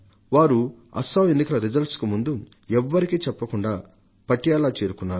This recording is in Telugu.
వారు అస్సాం ఎన్నికల ఫలితాలకు ముందు ఎవ్వరికీ చెప్పకుండా పటియాలా చేరుకున్నారు